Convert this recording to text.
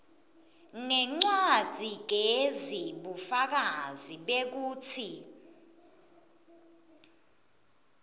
ngencwadzigezi bufakazi bekutsi